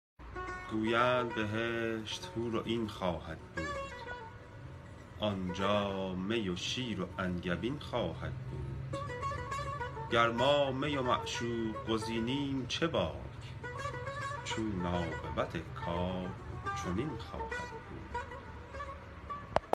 گویند بهشت و حورعین خواهد بود آنجا می و شیر و انگبین خواهد بود گر ما می و معشوق گزیدیم چه باک چون عاقبت کار چنین خواهد بود